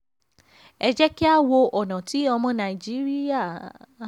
ẹ jẹ́ kí a wo ọ̀nà tí ọmọ nàìjíríà le fi fara mọ́ ìrìnnà ọkọ̀.